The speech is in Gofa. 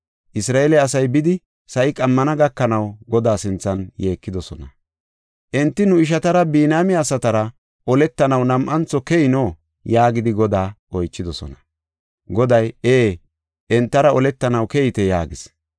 Isra7eele asay bidi sa7i qammana gakanaw Godaa sinthan yeekidosona. Enti, “Nu ishatara, Biniyaame asatara oletanaw nam7antho keyino?” yaagidi Godaa oychidosona. Goday, “Ee, entara oletanaw keyite” yaagis.